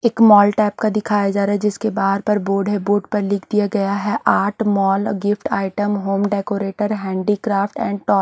एक mall type का दिखाया जा रहा है जिसके बाहर पर बोर्ड है बोर्ड पर लिख दिया गया है art mall gift item home decorator handicraft and top --